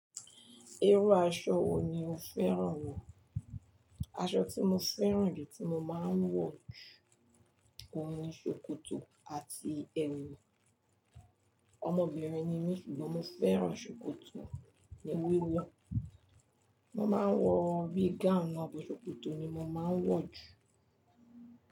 Irú aṣọ wo ni o fẹ́ràn wo? Aṣọ tí mo fẹ́ràn jù tí mo máa ń wọ jù, òhun ni ṣòkòtò àti ẹ̀wù. Ọmọbìnrin ni mí ṣùgbọ́n mo fẹ́ràn ṣòkòtò ní wíwọ̀. Mo máa ń wọ bi gown naa but ṣòkòtò ni mo máa ń wọ jù.